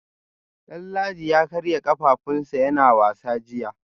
Danladi ya karya kafafunsa yana wasa jiya